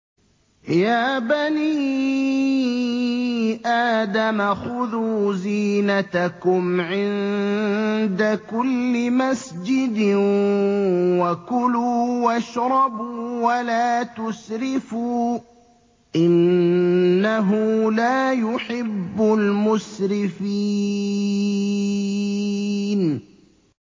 ۞ يَا بَنِي آدَمَ خُذُوا زِينَتَكُمْ عِندَ كُلِّ مَسْجِدٍ وَكُلُوا وَاشْرَبُوا وَلَا تُسْرِفُوا ۚ إِنَّهُ لَا يُحِبُّ الْمُسْرِفِينَ